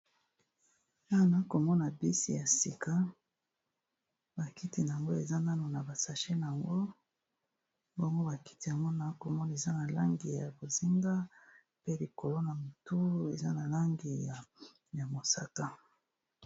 Awa na komona bisi ya sika bakiti na yango eza nano na basashina yango bomo bakiti yamona komona eza na langi ya bozinga pe likolo na motu eza na langi ya mosaka